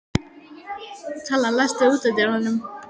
Kalla, læstu útidyrunum.